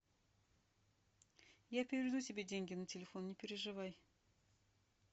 я переведу себе деньги на телефон не переживай